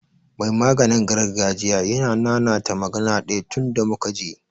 Mai maganin gargajiya yana ta nanata magana ɗaya tunda muka je.